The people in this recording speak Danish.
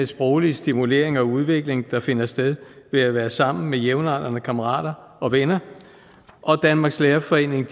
sproglige stimulering og udvikling der finder sted ved at være sammen med jævnaldrende kammerater og venner og danmarks lærerforening